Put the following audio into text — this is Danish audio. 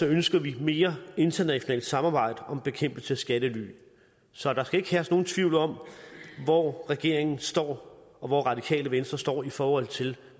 ønsker vi mere internationalt samarbejde om bekæmpelse af skattely så der skal ikke herske nogen tvivl om hvor regeringen står og hvor radikale venstre står i forhold til